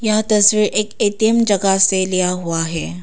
यह तस्वीर एक ए_टी_एम जगह से लिया हुआ है।